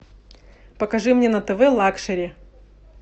покажи мне на тв лакшери